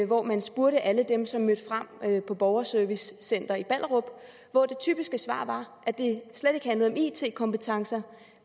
hvor man spurgte alle dem som mødte frem på borgerservicecenteret i ballerup og hvor det typiske svar var at det slet ikke handlede om it kompetencer